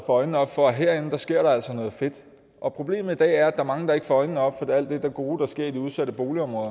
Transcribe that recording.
øjnene op for at herinde sker der altså noget fedt problemet i dag er at er mange der ikke får øjnene op for alt det gode der sker i de udsatte boligområder